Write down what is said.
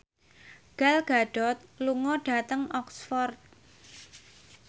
Gal Gadot lunga dhateng Oxford